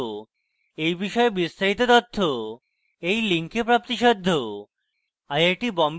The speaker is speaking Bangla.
এই বিষয়ে বিস্তারিত তথ্য এই link প্রাপ্তিসাধ্য